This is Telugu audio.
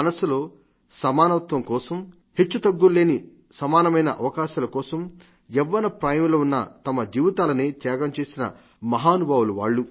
మనస్సులో సమానత్వం కోసం హెచ్చుతగ్గుల్లేని సమానమైన అవకాశాల కోసం యవ్వన ప్రాయంలో ఉన్న తమ జీవితాలనే త్యాగం చేసిన మహానుభావులు వాళ్లు